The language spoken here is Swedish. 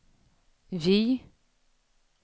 J